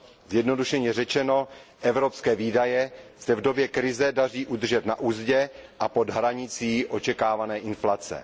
Zjednodušeně řečeno, evropské výdaje se v době krize daří udržet na uzdě a pod hranicí očekávané inflace.